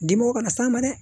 Dimɔgɔw kana s'an ma dɛ